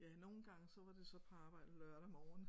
Ja nogle gange så var det så på arbejde lørdag morgen